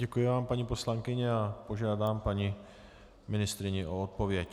Děkuji vám, paní poslankyně, a požádám paní ministryni o odpověď.